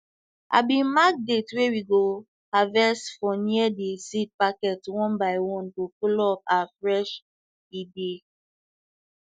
i bin mark date wey we go harvest for near de seed packet one by one to follow up our fresh e dey